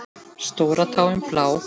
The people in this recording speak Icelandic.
Stóra táin blá.